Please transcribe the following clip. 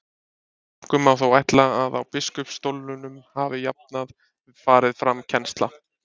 einkum má þó ætla að á biskupsstólunum hafi jafnan farið fram kennsla